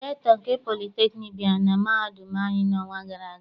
Rektọ nke politekniik bịara na mahadum anyị n'ọnwa gara aga.